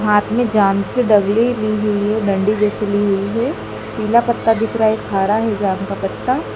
हाथ में जान की दगली ली हुई है डंडी जैसी ली हुई है पीला पत्ता दिख रहा है खारा है जान का पत्ता--